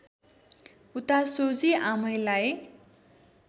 उता सोझी आमैलाई